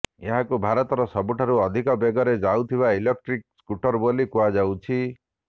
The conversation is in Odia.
ଏହାକୁ ଭାରତର ସବୁଠାରୁ ଅଧିକ ବେଗରେ ଯାଉଥିବା ଇଲେକଟ୍ରିକ୍ ସ୍କୁଟର ବୋଲି କୁହାଯାଉଛି